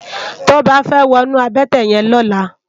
Toba fè wònú àbëtè yèn lòlá